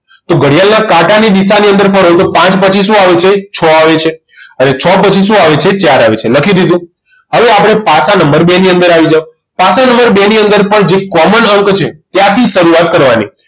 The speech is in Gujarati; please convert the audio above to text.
તો ઘડિયાળના કાંટા ની દિશા ની અંદર ફરો તો પાંચ પછી શું આવે છે છ આવે છે હવે છ પછી શું આવે છે ચાર આવે છે લખી દીધું હવે આપણે પાસા નંબર બે ની અંદર આવી જાવ પાસા નંબર બે ની અંદર પણ જે common અંક છે ત્યાંથી શરૂઆત કરવાની